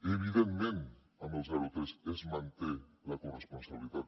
evidentment amb el zero a tres es manté la corresponsabilitat